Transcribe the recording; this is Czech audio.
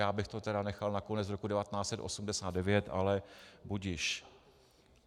Já bych to tedy nechal na konec roku 1989, ale budiž.